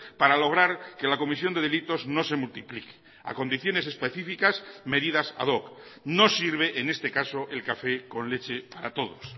para lograr que la comisión de delitos no se multiplique a condiciones específicas medidas ad hoc no sirve en este caso el café con leche para todos